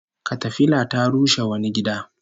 Katafila ta rushe wani gida